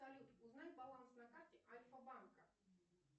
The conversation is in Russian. салют узнай баланс на карте альфа банка